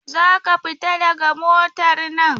Za ka fita daga motar nan!